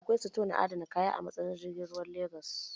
Akwai sito na adana kaya a matsayar jirgin ruwan Legas